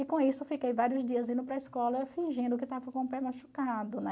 E com isso eu fiquei vários dias indo para a escola fingindo que estava com o pé machucado, né?